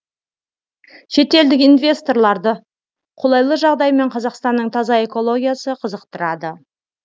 шетелдік инвесторларды қолайлы жағдай мен қазақстанның таза экологиясы қызықтырады